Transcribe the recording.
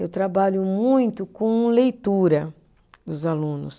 Eu trabalho muito com leitura dos alunos.